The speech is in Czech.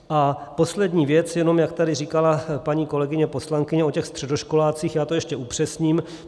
A poslední věc, jenom jak tady říkala paní kolegyně poslankyně o těch středoškolácích, já to ještě upřesním.